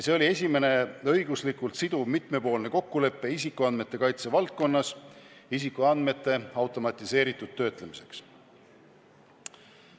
See oli esimene õiguslikult siduv mitmepoolne kokkulepe isikuandmete kaitse valdkonnas isikuandmete automatiseeritud töötlemiseks.